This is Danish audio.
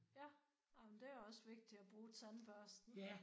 Ja. Nåh men det også vigtigt at bruge tandbørsten